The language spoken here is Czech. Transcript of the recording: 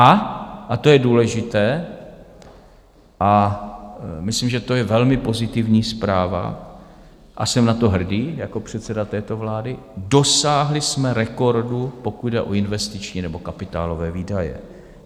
A - a to je důležité a myslím, že to je velmi pozitivní zpráva a jsem na to hrdý jako předseda této vlády - dosáhli jsme rekordu, pokud jde o investiční nebo kapitálové výdaje.